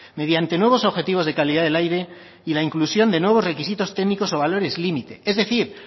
mediante nuevos objetivos de calidad del aire y la inclusión de nuevos requisitos técnicos o valores límite es decir